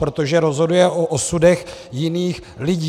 Protože rozhoduje o osudech jiných lidí.